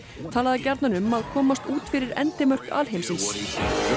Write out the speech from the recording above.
talaði gjarnan um að komast út fyrir endimörk alheimsins